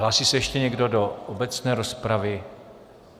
Hlásí se ještě někdo do obecné rozpravy?